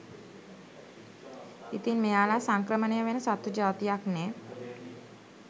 ඉතින් මෙයාලා සංක්‍රමණය වෙන සත්තු ජාතියක්නේ